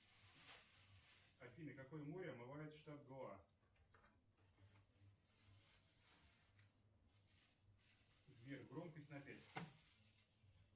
афина какое море омывает штат гоа сбер громкость на пять